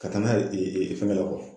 Ka taa n'a ye fɛngɛ la